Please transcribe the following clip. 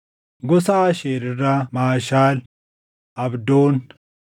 gosa Aasheer irraa Maashaal, Abdoon,